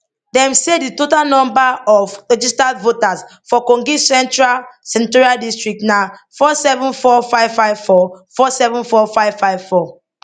dem say di total number of registered voters for kogi central senatorial district na 474554 474554